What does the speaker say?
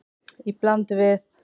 Í bland við